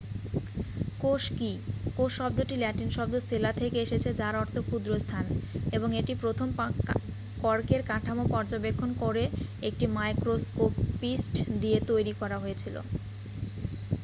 "কোষ কী? কোষ শব্দটি ল্যাটিন শব্দ "সেলা" থেকে এসেছে যার অর্থ "ক্ষুদ্র স্থান" এবং এটি প্রথম কর্কের কাঠামো পর্যবেক্ষণ করে একটি মাইক্রোস্কোপিস্ট দিয়ে তৈরি করা হয়েছিল।